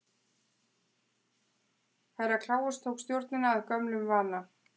Herra Kláus tók stjórnina að gömlum vana.